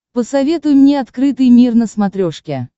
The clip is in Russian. посоветуй мне открытый мир на смотрешке